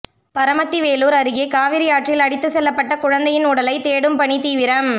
பரமத்திவேலூர் அருகே காவிரி ஆற்றில் அடித்துச்செல்லப்பட்ட குழந்தையின் உடலை தேடும் பணி தீவிரம்